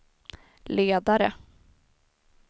ledare